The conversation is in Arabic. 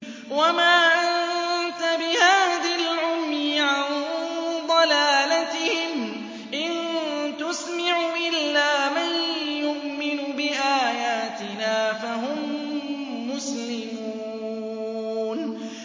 وَمَا أَنتَ بِهَادِ الْعُمْيِ عَن ضَلَالَتِهِمْ ۖ إِن تُسْمِعُ إِلَّا مَن يُؤْمِنُ بِآيَاتِنَا فَهُم مُّسْلِمُونَ